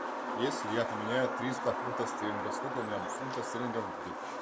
если я поменяю триста фунтов стерлингов сколько у меня фунтов стерлингов будет